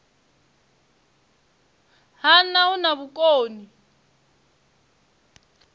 ha nha hu na vhukoni